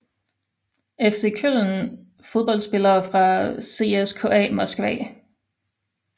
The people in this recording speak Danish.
FC Köln Fodboldspillere fra CSKA Moskva